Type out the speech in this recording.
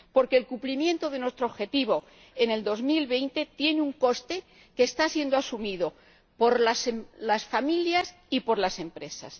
Porque el cumplimiento de nuestro objetivo en 2020 tiene un coste que está siendo asumido por las familias y por las empresas.